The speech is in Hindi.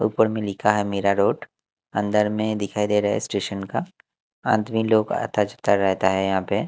ऊपर में लिखा है मीरा रोड अंदर में दिखाई दे रहा है स्टेशन का आदमी लोग आता जाता रहता है यहां पे।